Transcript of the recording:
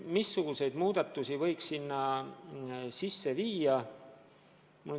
Missuguseid muudatusi võiks teha?